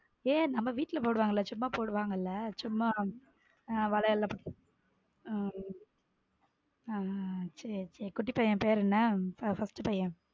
ஏய் நம்ம வீட்ல போடுவாங்கல சும்மா போடுவாங்கல சும்மா வளையல் உம் ஹம் சேரி சேரி குட்டி பையன் பெயர் என்ன first பையன்.